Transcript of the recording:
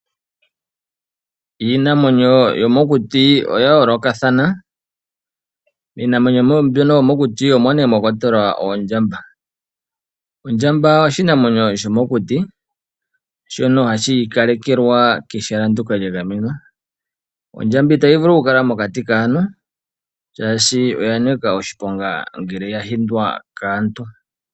Iinamwenyo yomokuti oya yoolokathana. Miinamwenyo mbyono yomokuti omo mwakwatelwa oondjamba. Oondjba oshinamwenyo shomokuti shono hashi ikalekelwa kehala ndoka lya gamenwa . Ondjamba itayi vulu okukala mokati kaantu oshoka oyanika oshiponga ngele ya hindwa kaantu.